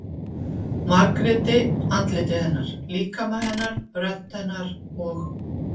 Margréti- andliti hennar, líkama hennar, rödd hennar- og